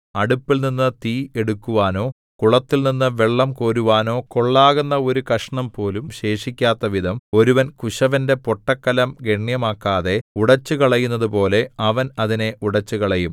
അടുപ്പിൽനിന്നു തീ എടുക്കുവാനോ കുളത്തിൽനിന്നു വെള്ളം കോരുവാനോ കൊള്ളാകുന്ന ഒരു കഷണംപോലും ശേഷിക്കാത്തവിധം ഒരുവൻ കുശവന്റെ പൊട്ടക്കലം ഗണ്യമാക്കാതെ ഉടച്ചുകളയുന്നതുപോലെ അവൻ അതിനെ ഉടച്ചുകളയും